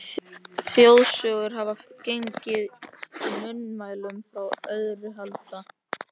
Þjóðsögur hafa gengið í munnmælum frá örófi alda.